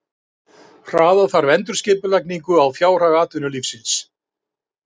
Hraða þarf endurskipulagningu á fjárhag atvinnulífsins